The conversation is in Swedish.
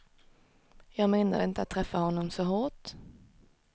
Jag menade inte att träffa honom så hårt.